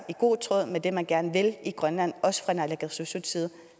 i god tråd med det man gerne vil i grønland også fra naalakkersuisuts side